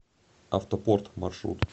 автопорт маршрут